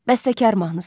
Bəstəkar mahnısı.